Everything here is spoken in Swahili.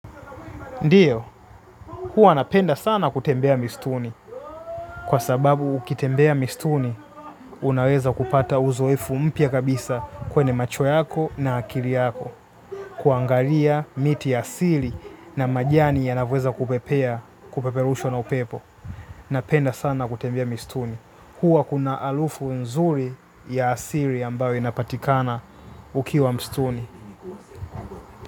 Ndiyo, huwa napenda sana kutembea mistuni. Kwa sababu, ukitembea mistuni, unaweza kupata uzoefu mpya kabisa kwenye macho yako na akili yako. Kuangalia miti ya asili na majani yanavyoweza kupepea, kupeperushwa na upepo. Napenda sana kutembea mistuni. Huwa kuna alufu nzuri ya asili ambayo inapatikana ukiwa mistuni.